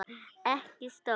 Ekki stór.